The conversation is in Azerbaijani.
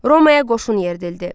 Romaya qoşun yeridildi.